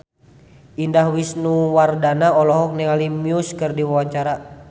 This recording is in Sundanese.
Indah Wisnuwardana olohok ningali Muse keur diwawancara